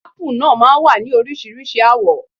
Ápù náà máa wá ní Oríṣiríṣi àwọ̀.